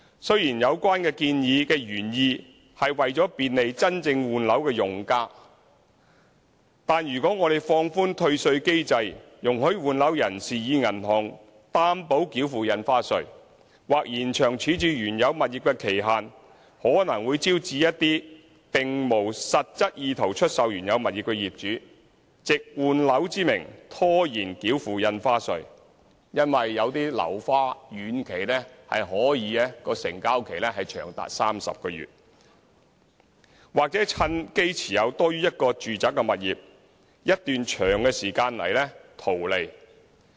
雖然有關建議的原意是為了便利真正換樓的用家，但如果我們放寬退稅機制，容許換樓人士以銀行擔保繳付印花稅，或延長處置原有物業的期限，可能會招致一些並無實質意圖出售原有物業的業主，藉換樓之名拖延繳付印花稅，原因是有些樓花遠期成交期可以長達30個月，業主或會趁機持有多於1個住宅物業一段長時間來圖利。